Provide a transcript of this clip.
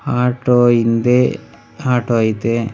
Auto ಹಿಂದೆ auto ಐತೆ.